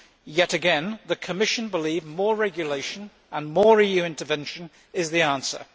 Yet again, the Commission believes more regulation and more EU intervention are the answer.